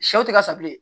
Sɛw tɛ ka sa bilen